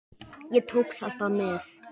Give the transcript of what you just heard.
Ég tók þetta með.